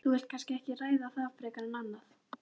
Þú vilt kannski ekki ræða það frekar en annað?